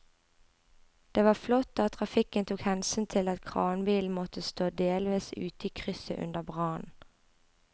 Det var flott at trafikken tok hensyn til at kranbilen måtte stå delvis ute i krysset under brannen.